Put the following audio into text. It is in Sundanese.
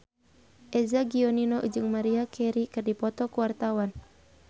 Eza Gionino jeung Maria Carey keur dipoto ku wartawan